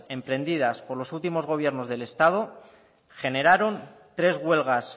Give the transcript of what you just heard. emprendidas por los últimos gobiernos del estado generaron tres huelgas